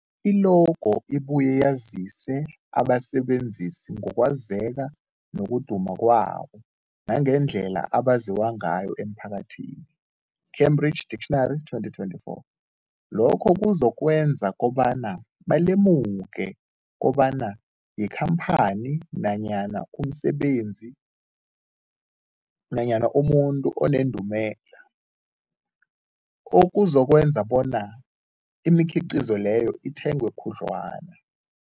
I-logo ibuye yazise abasebenzisi ngokwazeka nokuduma kwabo nangendlela abaziwa ngayo emphakathini, Cambridge Dictionary 2024. Lokho kuzokwenza kobana balemuke kobana yikhamphani nanyana umsebenzi nanyana umuntu onendumela, okuzokwenza kobana imikhiqhizo leyo ithengwe khudlwana.